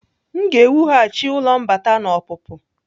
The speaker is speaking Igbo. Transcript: M ga-ewughachi ụlọ mbata na ọpụpụ.